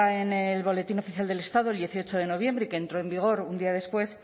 en el boletín oficial del estado el dieciocho de noviembre y que entró en vigor un día después